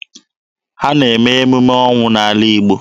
A na-eme emume ọnwụ n'ala Igbo.